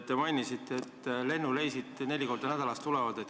Te mainisite, et lennureisid tulevad neli korda nädalas.